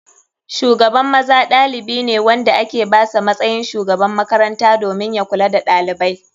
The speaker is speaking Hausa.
Shugaban maza ɗalibi ne wanda ake basa matsayin shugaban makaranta domin ya kula da ɗalibai.